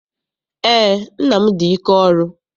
Eé, nna m dị ike ọrụ.